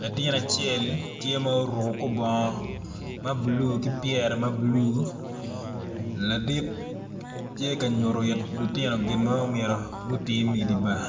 latin acel tye ma oruku kor bongo ma bulu ki pyere ma bulu ladit ti ka nyutu it lutino gin ma omyero gutim idi bar